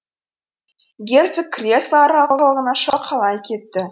герцог кресло арқалығына шалқалай кетті